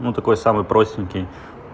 ну такой самый простенький